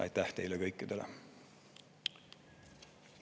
Aitäh teile kõikidele!